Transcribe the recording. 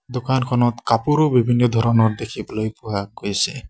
দোকানখনত কাপোৰো বিভিন্ন ধৰণৰ দেখিবলৈ পোৱা গৈছে।